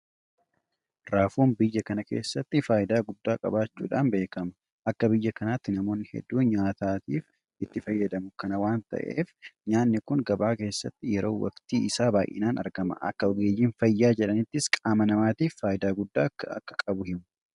Raafuun biyya kana keessatti faayidaa guddaa qabaachuudhaan beekama. Akka biyya kanaatti namoonni hedduun nyaataaf itti fayyadamu. Kana waanta ta'eef nyaanni kun gabaa keessatti yeroo waktii isaa baay'inaan argama. Akka ogeeyyiin fayyaa jedhanittis qaama namaatiif faayidaa guddaa akka qabu himu.